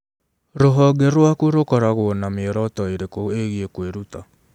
Rũhonge rwaku rũkoragwo na mĩoroto ĩrĩkũ ĩgiĩ kwĩruta?